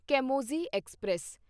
ਕੈਮੋਜ਼ੀ express